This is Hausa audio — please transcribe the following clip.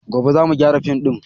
Gobe za mu gyara fim din